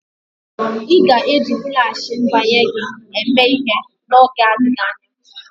Ị ga-eji Flashị mbanye gị eme ihe n'oge adịghị anya?